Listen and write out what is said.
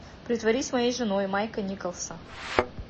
притворись моей женой майка николса